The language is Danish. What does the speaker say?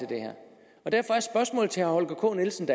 herre holger k nielsen